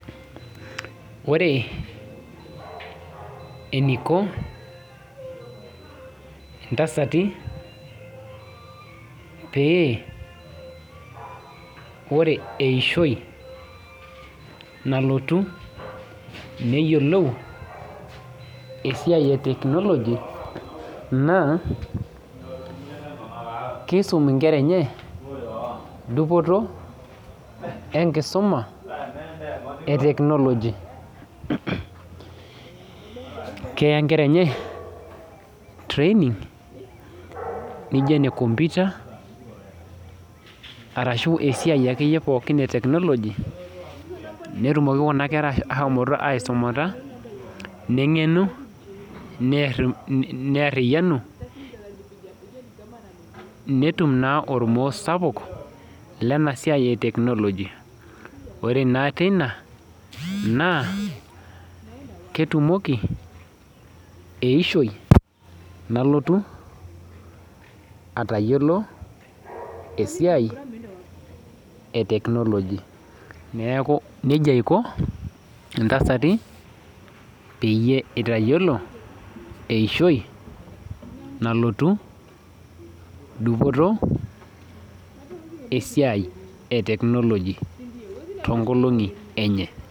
Ore eneiko intasati pee ore eishio nalotu neyiolou esiai e technology naa keisun inkera enye dupoto enkisuma e technologi keya inkera enye training nainio ene komputa ashuu esiai akeyie naijio ene technology netumoki kuna kera aaisumata neng'enu neeriyuany metum naa ormoo sapuk lena sia e technologi naa ore naa teina ketumoki eishioi nalotu aatayiolo esiai e technologi neeku nejia eiko intasati pee esitayolo eishio nalotu dupoto esiai e technologi toonkolong'i enye